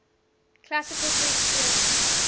classical test theory